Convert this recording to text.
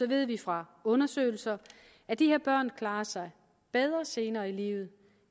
ved vi fra undersøgelser at de her børn klarer sig bedre senere i livet